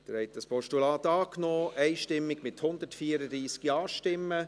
Sie haben das Postulat einstimmig angenommen, mit 134 Ja-Stimmen.